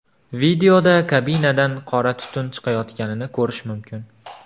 Videoda kabinadan qora tutun chiqayotganini ko‘rish mumkin.